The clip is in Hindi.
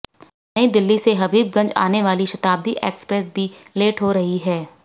नई दिल्ली से हबीबगंज आने वाली शताब्दी एक्सप्रेस भी लेट हो रही है